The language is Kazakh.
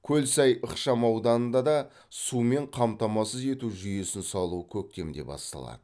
көлсай ықшамауданында да сумен қамтамасыз ету жүйесін салу көктемде басталады